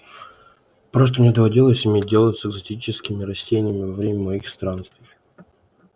просто мне доводилось иметь дело с экзотическими растениями во время моих странствий